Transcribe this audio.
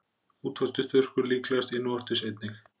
Útvortis þurrkur, líklegast innvortis einnig.